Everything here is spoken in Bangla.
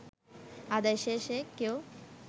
আদায় শেষে কেউ